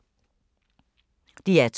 DR2